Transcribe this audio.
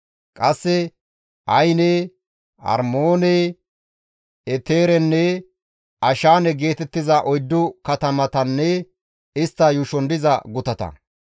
Qasse Ayine, Armoone, Eteerenne Ashaane geetettiza oyddu katamatanne istta yuushon diza gutata.